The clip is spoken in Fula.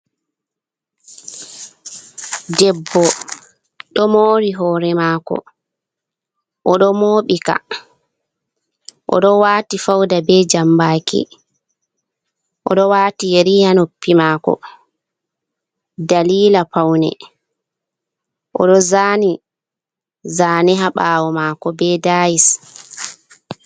Debbo ɗo moori hoore maako, o ɗo mooɓi ka, o ɗo waati fauda be jambaaki, o ɗo waati yeri haa noppi maako, dalila paune, o ɗo zaani zane haa ɓaawo maako be dayis.